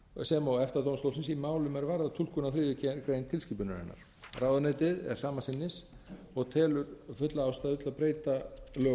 sem og efta dómstólsins í málum er varða túlkun á þriðju greinar tilskipunarinnar ráðuneytið er sama sinnis og telur fulla ástæðu til að breyta lögunum